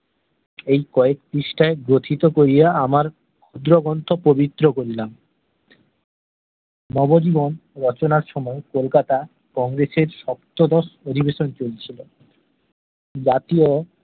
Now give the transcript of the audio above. ঐ কয়েক পৃষ্ঠায় গো থিতো করিয়া আমার খুদ্র গ্রন্থ পবিত্র করিলাম নব জীবন রচনার সময় কলকাতা কংগ্রেসের সপ্তদশ অধিবেশন চলছিল জাতীয়